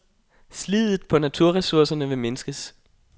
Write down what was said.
Sliddet på naturressourcerne vil mindskes.